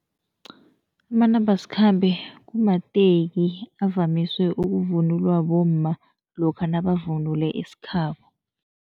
Amanambasikhambe kumateki avamiswe ukuvunulwa bomma lokha nabavunule isikhabo.